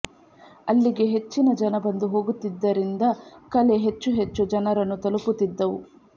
ಅಲ್ಲಿಗೆ ಹೆಚ್ಚಿನ ಜನ ಬಂದು ಹೋಗುತ್ತಿದ್ದರಿಂದ ಕಲೆ ಹೆಚ್ಚು ಹೆಚ್ಚು ಜನರನ್ನು ತಲುಪುತ್ತಿದ್ದವು